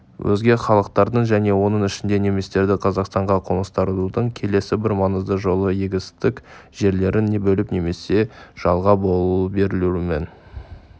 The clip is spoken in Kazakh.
өзге халықтарды және оның ішінде немістерді қазақстанға қоныстандырудың келесі бір маңызды жолы егістік жерлерін бөліп немесе жалға берілуімен